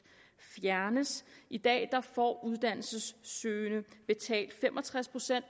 fjernes i dag får uddannelsessøgende fem og tres procent